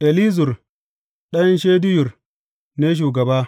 Elizur ɗan Shedeyur ne shugaba.